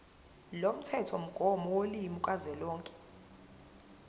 lomthethomgomo wolimi kazwelonke